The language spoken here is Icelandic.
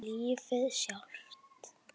Lífið sjálft.